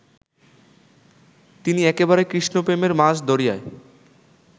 তিনি একেবারে কৃষ্ণপ্রেমের মাঝ দরিয়ায়